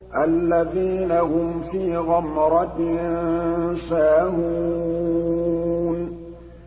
الَّذِينَ هُمْ فِي غَمْرَةٍ سَاهُونَ